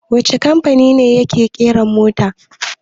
Wacce kamfani ne yake ƙera mota?